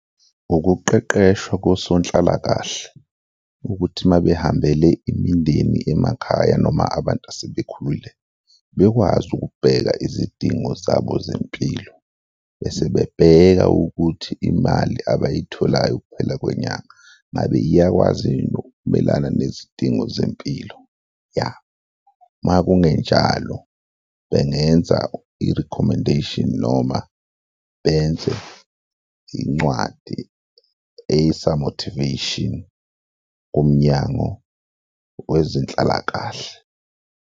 Ukuqeqeshwa kosonhlalakahle ukuthi ma behambele imindeni emakhaya noma abantu asebekhulile, bekwazi ukubheka izidingo zabo zempilo bese bebheka ukuthi imali abayitholayo ukuphela kwenyanga ngabe iyakwazi yini ukumelana nezidingo zempilo? Ya, uma kungenjalo, bengenza i-recommendation noma benze incwadi ey'sa-motivation kuMnyango Wezenhlalakahle.